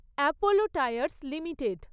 Apollo Tyres limited